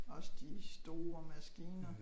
Også de store maskiner